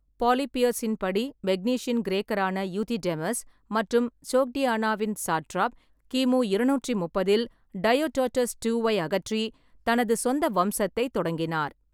பாலிபியஸின் படி மெக்னீசியன் கிரேக்கரான யூதிடெமஸ் மற்றும் சோக்டியானாவின் சாட்ராப், கிமு இருநூற்று முப்பதில் டையோடோடஸ் ட்டூவை ஐ அகற்றி தனது சொந்த வம்சத்தைத் தொடங்கினார்.